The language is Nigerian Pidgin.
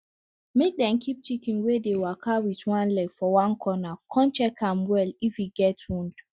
make dem keep chicken wey dey waka wit one leg for one corner con check am well if e get wound